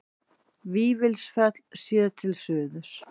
Vífilsfell séð til suðurs.